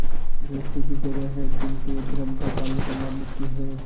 दोस्ती की जगह है किंतु धर्म का पालन करना मुख्य है